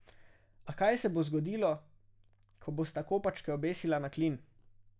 A, kaj se bo zgodilo, ko bosta kopačke obesila na klin?